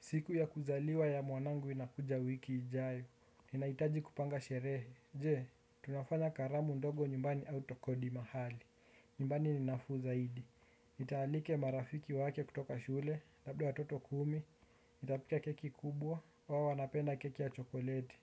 Siku ya kuzaliwa ya mwanangu inakuja wiki ijayo. Ninaitaji kupanga sherehe. Je, tunafanya karamu ndogo nyumbani au tukodi mahali? Nyumbani ni nafuu zaidi. Nitaalike marafiki wake kutoka shule, labda watoto kumi. Nitapika keki kubwa, wao wanapenda keki ya chokoleti.